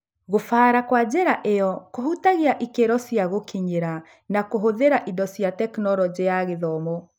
Gũbara kwa njĩra ĩyo kũhutagia ikĩro cia gũkinyĩra na kũhũthĩra indo cia Tekinoronjĩ ya Gĩthomo.